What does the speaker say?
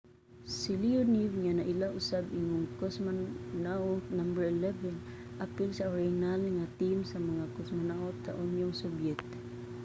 si leonov nga naila usab ingong cosmonaut no. 11 apil sa orihinal nga team sa mga cosmonaut sa unyong sobyet